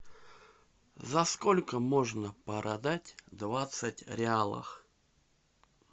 за сколько можно продать двадцать реалов